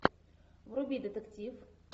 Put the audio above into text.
вруби детектив